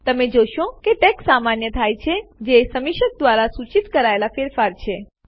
તમે જોશો કે ટેક્સ્ટ સામાન્ય થાય છે જે સમીક્ષક દ્વારા સૂચિત કરાયેલ ફેરફાર છે